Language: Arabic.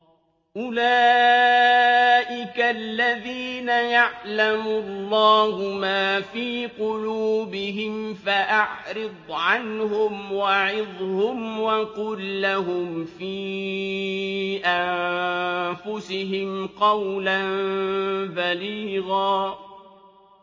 أُولَٰئِكَ الَّذِينَ يَعْلَمُ اللَّهُ مَا فِي قُلُوبِهِمْ فَأَعْرِضْ عَنْهُمْ وَعِظْهُمْ وَقُل لَّهُمْ فِي أَنفُسِهِمْ قَوْلًا بَلِيغًا